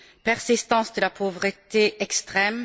persistance de la pauvreté extrême.